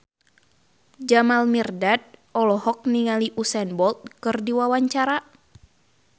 Jamal Mirdad olohok ningali Usain Bolt keur diwawancara